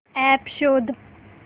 app शोध